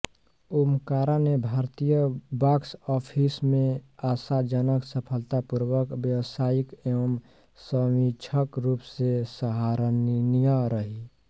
ओमकारा ने भारतीय बाॅक्सऑफिस में आशाजनक सफलतापूर्वक व्यावसायिक एवं समीक्षक रूप में सराहनीय रही